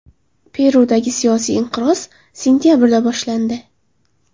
Perudagi siyosiy inqiroz sentabrda boshlandi.